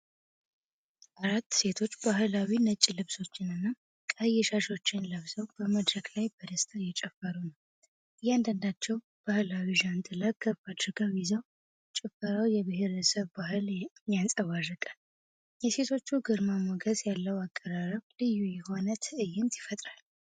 አራት ሴቶች ባህላዊ ነጭ ልብሶችንና ቀይ ሻሾችን ለብሰው በመድረክ ላይ በደስታ እየጨፈሩ ነው። እያንዳንዳቸው ባህላዊ ዣንጥላ ከፍ አድርገው ይዘው፣ ጭፈራው የብሔረሰብን ባህል ያንጸባርቃል። የሴቶቹ ግርማ ሞገስ ያለው አቀራረብ ልዩ የሆነ ትዕይንት ይፈጥራል።